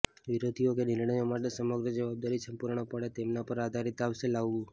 વિરોધીઓ કે નિર્ણયો માટે સમગ્ર જવાબદારી સંપૂર્ણપણે તેમના પર આધારિત આવશે લાવવું